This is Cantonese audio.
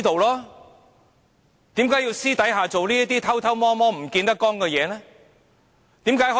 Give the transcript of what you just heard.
為何他要私下做這些偷偷摸摸，不見得光的事？